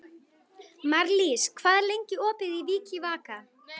Marlís, hvað er lengi opið í Vikivaka?